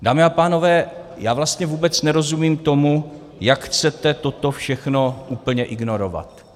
Dámy a pánové, já vlastně vůbec nerozumím tomu, jak chcete toto všechno úplně ignorovat.